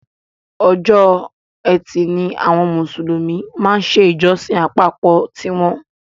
Ọjọ́ ẹtì ni àwọn Mùsùlùmí máa ń ṣe ìjọsìn àpapọ̀ tí wọn.